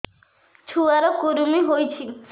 ଛୁଆ ର କୁରୁମି ହୋଇଛି